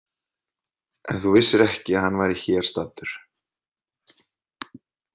En þú vissir ekki að hann væri hér staddur?